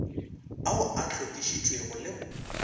ao a hlokišitšwego le go